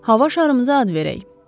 Hava şarımıza ad verək.